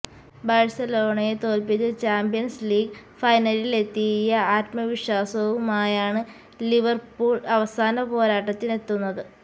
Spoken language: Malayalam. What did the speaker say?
ബാഴ്സലോണയെ തോൽപ്പിച്ച് ചാമ്പ്യൻസ് ലീഗ് ഫൈനലിലെത്തിയ ആത്മവിശ്വാസവുമായാണ് ലിവർപൂൾ അവസാന പോരാട്ടത്തിനെത്തുന്നത്